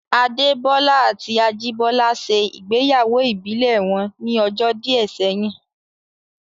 Adé Bọ́lá àti Ajìbọ́lá ṣe ìgbéyàwó ìbílẹ̀ wọn ní ọjọ́ díẹ̀ sẹ́yìn